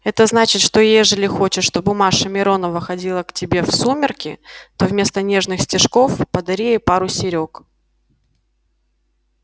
это значит что ежели хочешь чтоб маша миронова ходила к тебе в сумерки то вместо нежных стишков подари ей пару серёг